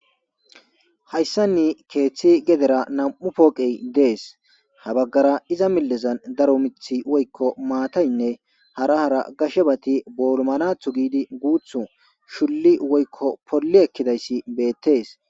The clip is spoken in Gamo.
Hayssanni keeththi gedera nam'u pooqey dees habaggara iza millezan daro mithi woykko maataynne hara hara gashebati boolmalathu giidi guuthu shulli woykko polli ekkidayssi beettees.